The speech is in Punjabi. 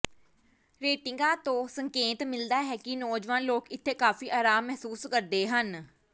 ਰੇਟਿੰਗਾਂ ਤੋਂ ਸੰਕੇਤ ਮਿਲਦਾ ਹੈ ਕਿ ਨੌਜਵਾਨ ਲੋਕ ਇੱਥੇ ਕਾਫ਼ੀ ਆਰਾਮ ਮਹਿਸੂਸ ਕਰਦੇ ਹਨ